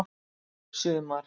sumar